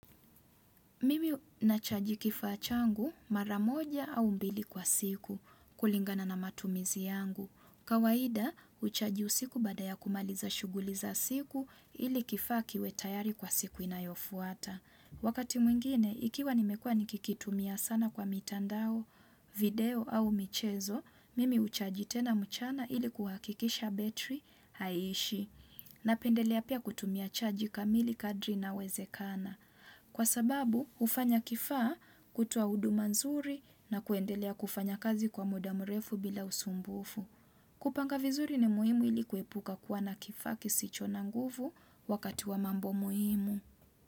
Mimi nachaji kifaa changu mara moja au mbili kwa siku kulingana na matumizi yangu. Kawaida, huchaji usiku baada ya kumaliza shuguli za siku ili kifaa kiwe tayari kwa siku inayofuata. Wakati mwingine, ikiwa nimekuwa nikikitumia sana kwa mitandao, video au michezo, mimi huchaji tena mchana ili kuhakikisha betri haishi. Napendelea pia kutumia chaji kamili kadri inawezekana. Kwa sababu, hufanya kifaa kutoa huduma nzuri na kuendelea kufanya kazi kwa muda mrefu bila usumbufu. Kupanga vizuri ni muhimu ili kuepuka kuwa na kifaa kisicho na nguvu wakati wa mambo muhimu.